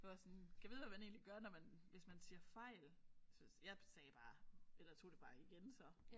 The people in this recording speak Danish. Jeg var også sådan gad vide hvad man egentlig gør når man hvis man siger fejl så jeg sagde bare eller tog det bare igen så